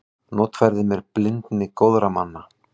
Notfærði mér blindni góðra manna.